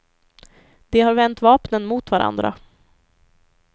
De har vänt vapnen mot varandra.